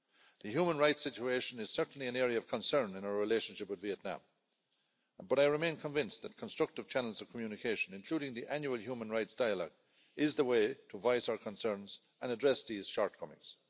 The human rights situation is certainly an area of concern in our relationship with Vietnam, but I remain convinced that constructive channels of communication, including the Annual Human Rights Dialogue, is the way to voice our concerns and address these shortcomings.